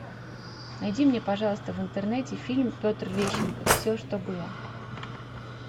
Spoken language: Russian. найди мне пожалуйста в интернете фильм петр лещенко все что было